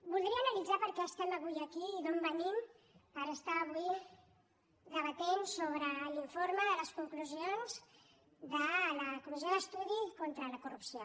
voldria analitzar per què estem avui aquí i d’on venim per estar avui debatent sobre l’informe de les conclusions de la comissió d’estudi contra la corrupció